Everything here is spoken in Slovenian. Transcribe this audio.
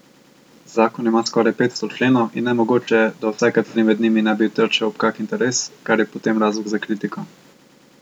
Zakon ima skoraj petsto členov in nemogoče je, da vsaj kateri med njimi ne bi trčil ob kak interes, kar je potem razlog za kritiko.